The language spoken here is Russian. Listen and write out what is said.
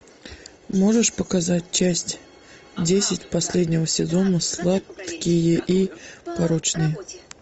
можешь показать часть десять последнего сезона сладкие и порочные